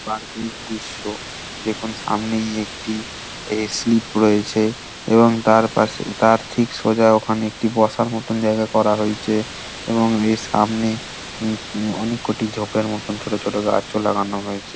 প্রাকৃত দৃশ্য দেখুন সামনে একটি এ স্লীপ রয়েছে। এবং তার পাশে তার ঠিক সোজা ওখানে একটি বসার মতো জায়গা করা হয়েছে । এবং এর সামনে উম অনেক কটি ছোপের মতন ছোট ছোট গাছ লাগানো হয়েছে ।